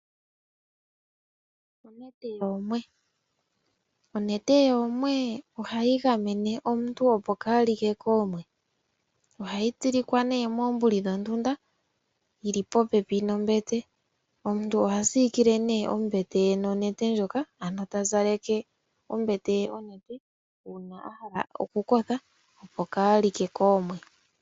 Onete yoomwe ohayi gamene omuntu opo kaa li ke koomwe. Ohayi tsilikwa nee moombuli dhondunda yi li popepi nombete. Omuntu oha siikile nee ombete ye nonete ndjoka ano ta zaleke ombete ye onete uuna a hala okukotha opo kaa li ke koomwe